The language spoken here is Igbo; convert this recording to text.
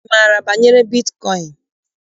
Ị maara banyere bitkọịn?